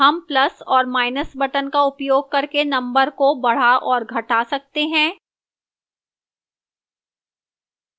हम plus और minus buttons का उपयोग करके numbers को बढ़ा और घटा सकते हैं